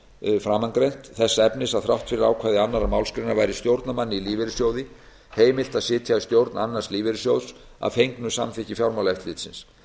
um framangreint þess efnis að þrátt fyrir ákvæði annarrar málsgreinar væri stjórnarmanni í lífeyrissjóði heimilt að sitja í stjórn annars lífeyrissjóðs að fengnu samþykki fjármálaeftirlitsins